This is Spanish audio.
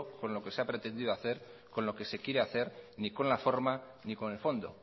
con lo que se ha pretendido hacer con lo que se quiere hacer ni con la forma ni con el fondo